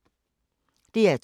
DR2